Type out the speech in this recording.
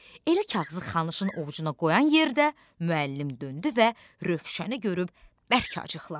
Elə kağızı Xanıshın ovucuna qoyan yerdə müəllim döndü və Rövşəni görüb bərk acıqlandı.